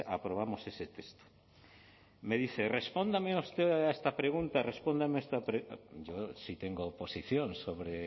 aprobamos ese texto me dice respóndame usted a esta pregunta respóndame a esta yo sí tengo posición sobre